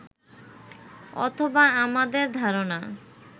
অথবা আমাদের ধারণা